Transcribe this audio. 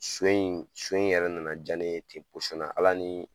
So in so in yɛrɛ nana ja ne ye ten Ala ni